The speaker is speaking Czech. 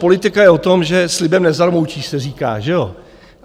Politika je o tom, že slibem nezarmoutíš, se říká, že jo.